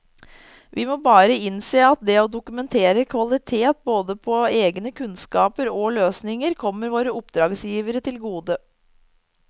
Vi må bare innse at det å dokumentere kvalitet både på egne kunnskaper og løsninger kommer våre oppdragsgivere til gode.